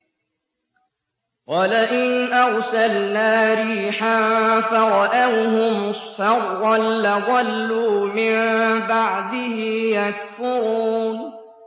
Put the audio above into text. وَلَئِنْ أَرْسَلْنَا رِيحًا فَرَأَوْهُ مُصْفَرًّا لَّظَلُّوا مِن بَعْدِهِ يَكْفُرُونَ